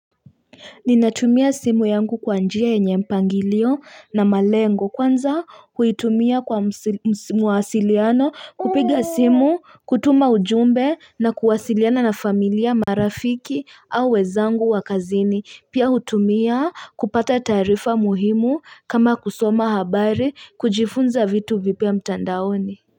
Ninatumia simu yangu kwa njia yenye mpangilio na malengo kwanza huitumia kwa mawasiliano kupiga simu, kutuma ujumbe, na kuwasiliana na familia, marafiki au wenzangu wakazini. Pia hutumia kupata taarifa muhimu kama kusoma habari, kujifunza vitu vipia mtandaoni.